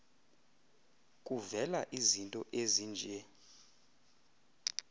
kuvela izinto ezinje